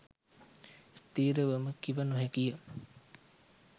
ස්ථිරවම කිව නොහැකිය.